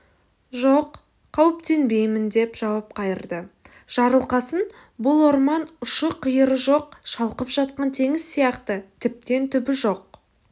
жоқ қауіптенбеймін деп жауап қайырды жарылқасын бұл орман ұшы-қиыры жоқ шалқып жатқан теңіз сияқты тіптен түбі жоқ